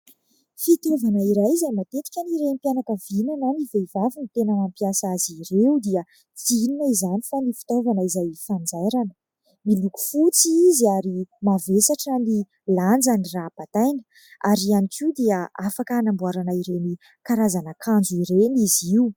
Fitaovana iray izay matetika ny renim-pianakaviana na ny vehivavy no tena mampiasa azy ireo, dia tsy inona izany fa ny fitaovana izay fanjairana. Miloko fotsy izy ary mavesatra ny lanjany raha bataina ary ihany koa dia afaka hanamboarana ireny karazana akanjo ireny izy io.